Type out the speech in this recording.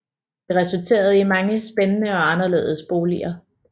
Det resulterede i mange spændende og anderledes boliger